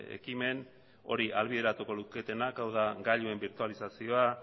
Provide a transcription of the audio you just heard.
ekimen hori ahalbideratuko luketenak hau da gailuen birtualizazioa